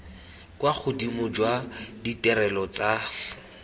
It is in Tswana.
kwa godimo jwa ditirelo tsa